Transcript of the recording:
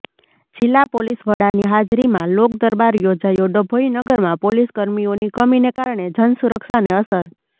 જિલ્લા પોલીસ વડાની હાજરીમાં લોક દરબાર યોજાયો ડભોઇ નગરમાં પોલીસ કર્મીઓની કમીને કારણે જનસુરક્ષાને અસર